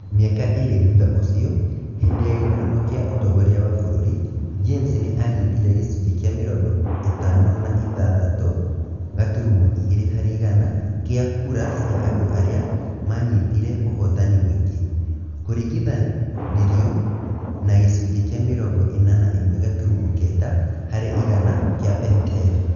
Mĩaka ĩĩrĩ thutha ũcio, hĩndĩ ya gĩthurano kĩa ũtongoria wa bũrũri, James nĩ aanyitire gĩcunjĩ kĩa mĩrongo ĩtani na ithathatũ gaturumo igĩrĩ harĩ igana kĩa kura cia andũ arĩa maanyitire ũhootani mũingĩ, kũringithanĩrio na gĩcunjĩ kĩamĩrongo ĩna na ĩmwe gaturumo kenda harĩ igana kĩa pentel.